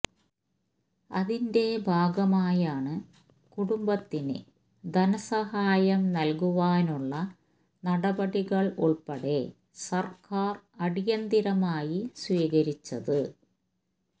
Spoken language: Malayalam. അതിന്റെ ഭാഗമായാണ് കുടുംബത്തിന് ധനസഹായം നല്കുവാനുള്ള നടപടികള് ഉള്പ്പടെ സര്ക്കാര് അടിയന്തരമായി സ്വീകരിച്ചത്